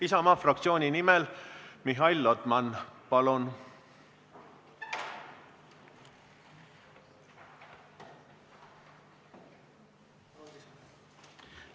Isamaa fraktsiooni nimel Mihhail Lotman, palun!